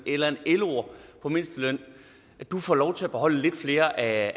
eller en loer på mindsteløn du får lov til at beholde lidt flere af